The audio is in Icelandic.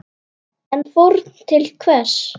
En fórn til hvers?